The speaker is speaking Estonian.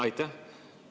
Aitäh!